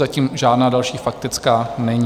Zatím žádná další faktická není.